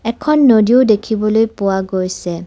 এখন নদীও দেখিবলৈ পোৱা গৈছে।